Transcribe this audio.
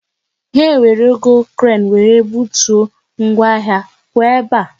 Ha ewerugo kren wéré butuo ngwa ahịa, pụọ ebe a!